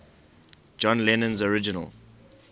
john lennon's original